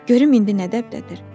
Görüm indi nə təbdədir?